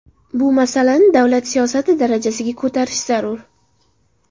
Bu masalani davlat siyosati darajasiga ko‘tarish zarur.